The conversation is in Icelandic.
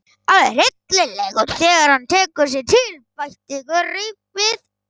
Alveg hryllilegur þegar hann tekur sig til, bætti Gurrý við.